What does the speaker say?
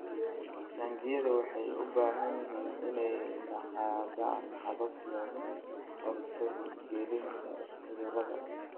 Taangiyada waxay u baahan yihiin inay lahaadaan habab looga hortago gelitaanka cudurada.